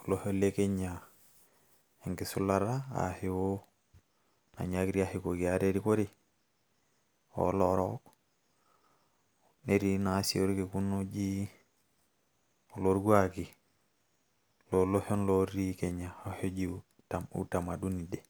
olosho le Kenya enkisulata ashu nainyaakitia ashukoki ate erikore, olorook. Netii na si orkekun oji Oloorkuaki, loloshon otii Kenya, oloshi oji Utamaduni day.